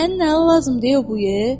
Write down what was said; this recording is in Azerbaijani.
Sənin nəyin lazımdır bu it?